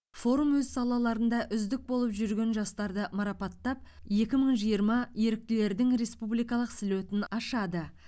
форум өз салаларында үздік болып жүрген жастарды марапаттап екі мың жиырма еріктілердің республикалық слетін ашады